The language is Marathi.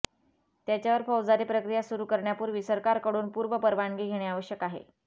त्याच्यावर फौजदारी प्रक्रिया सुरू करण्यापूर्वी सरकारकडून पूर्वपरवानगी घेणे आवश्यक आहे